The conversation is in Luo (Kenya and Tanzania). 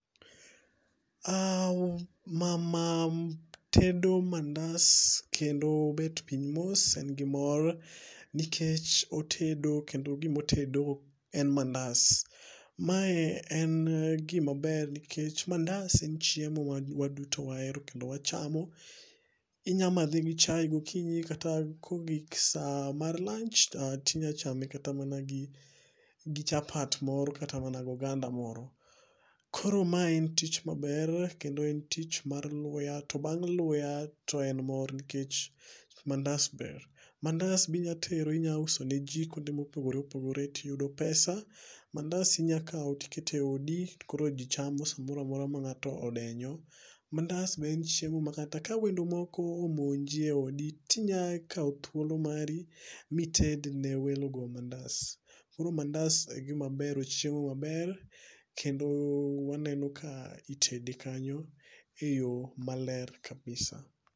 Ah mama tedo mandas kendo obet piny mos en gimor ,motedo kendo gima otedo en mandas. Mae en gima ber nikech mandas en chiemo ma waduto wahero kendo wachamo. Inyalo madhe gi chae gokinyi kata kogik saa mar lanch to inyalo chame kata mana gi chapat moro kata mana goganda moro. Koro mae en tich maber kendo en tich mar luya to bang' luya to en mor nikech mandas ber. Mandas be inyalo tero inyalo uso ne ji kuonde mopogore opogore too iyudo pesa. Mandas inyalo kawo to iketo eodi koro ji chamo saa moro amora ma ng'ato odenyo. Mandas be en chiemo ma kata ka wendo moko omonji eodi to inyalo kawo thuolo mari ma ited ne welogo mandas. Koro mandas en gima ber chiemo maber kendo waneno ka itede kanyo eyo maler [cs[kabisa.